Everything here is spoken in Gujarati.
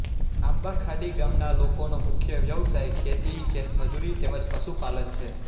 આંબાખાડી ગામના લોકોનો મુખ્ય વ્યવસાય ખેતી ખેતમજૂરી તેમ જ પશુપાલન છે